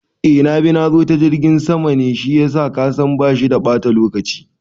Eh nabi nazo ta jirgin sama ne shiyasa kasan bashi da bata lokaci